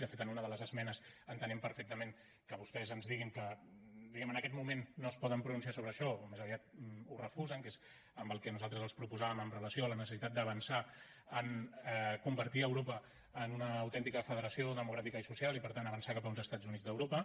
de fet en una de les esmenes entenem perfectament que vostès ens diguin que en aquest moment no es poden pronunciar sobre això més aviat ho refusen que és en el que nosaltres els proposàvem amb relació a la necessitat d’avançar en convertir europa en una autèntica federació democràtica i social i per tant avançar cap a uns estats units d’europa